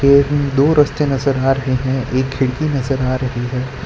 दो रस्ते नजर आ रहे हैं एक खिड़की नजर आ रही है।